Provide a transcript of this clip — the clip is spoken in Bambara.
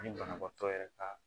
Ani banabaatɔ yɛrɛ ka